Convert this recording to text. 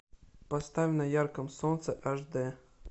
поставь на ярком солнце аш д